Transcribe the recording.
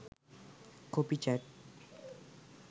copy chat